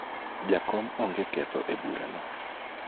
jakom onge ketho e bura no